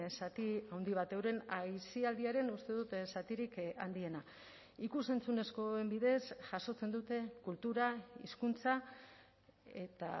zati handi bat euren aisialdiaren uste dut zatirik handiena ikus entzunezkoen bidez jasotzen dute kultura hizkuntza eta